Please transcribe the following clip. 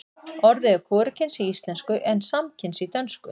orðið er hvorugkyns í íslensku en samkyns í dönsku